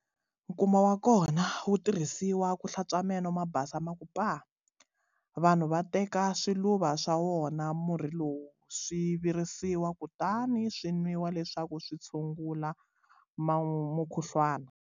Nkuma wa kona wu tirhisiwa ku hlantswa meno ma basa ma ku paa!. Vanhu va teka swiluva swa wona murhi lowu swi virisiwa kutani swi nwiwa leswaku swi tshungula mukhuhlwana.